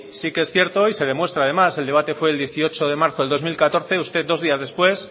sí que es cierto y se demuestra además el debate fue el dieciocho de marzo del dos mil catorce usted dos días después